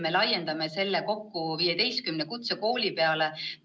Me laiendame selle kokku 15 kutsekooli peale.